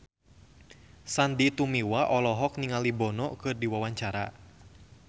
Sandy Tumiwa olohok ningali Bono keur diwawancara